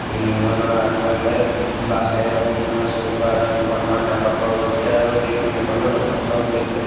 Building খনৰ আগফালে বাঁহেৰে বনোৱা চ'ফা দুখনমান দেখা পোৱা গৈছে আৰু টেবুল এখনো দেখা পোৱা গৈছে।